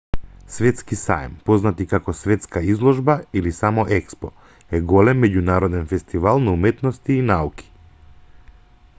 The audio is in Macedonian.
светски саем познат и како светска изложба или само експо е голем меѓународен фестивал на уметности и науки